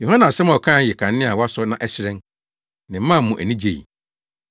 Yohane nsɛm a ɔkae yɛ kanea a wɔasɔ na ɛhyerɛn, na ɛmaa mo ani gyei.